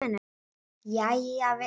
Jæja vinur.